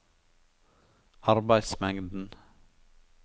arbeidsmengden